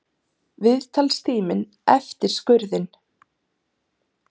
Viðtalstíminn eftir skurðinn.